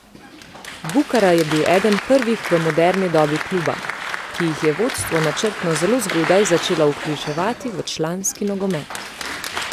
Bukara je bil eden prvih v moderni dobi kluba, ki jih je vodstvo načrtno zelo zgodaj začelo vključevati v članski nogomet.